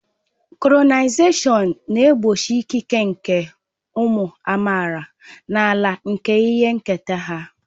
Kolonịalịzim na-egbochi ịkịke nke ụmụ amaala n'ala nke ihe nketa ha.